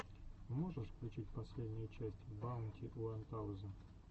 можешь включить последнюю часть баунти уан таузенд персент эернингс бизнесс инвэстментс